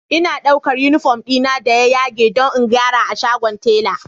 Ina ɗaukar uniform dina da ya yage don in gyara a shagon tela